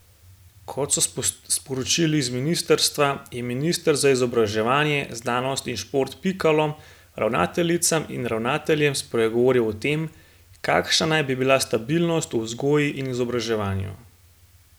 Kot so sporočili iz ministrstva, je minister za izobraževanje, znanost in šport Pikalo ravnateljicam in ravnateljem spregovoril o tem, kakšna naj bi bila stabilnost v vzgoji in izobraževanju.